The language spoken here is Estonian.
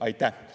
Aitäh!